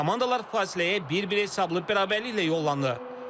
Komandalar fasiləyə bir-bir hesablı bərabərliklə yollanıb.